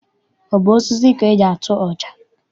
Ọ bụ osisi ka eji atụ ọja?